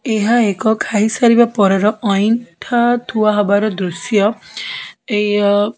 ଏହା ଏକ ଖାଇ ସାରିବା ପରର ଅଇଁଠା ଥୁଆ ହବାର ଦୃଶ୍ୟ ଏଇ ଅ --